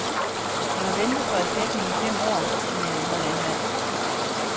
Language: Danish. Jeg har ventet på erstatning i fem år, siger en yngre landmand.